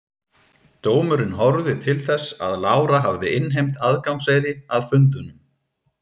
Dómurinn horfði til þess að Lára hafði innheimt aðgangseyri að fundunum.